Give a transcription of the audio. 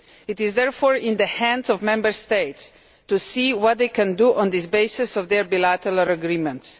It is therefore in the hands of Member States to see what they can do on the basis of their bilateral agreements.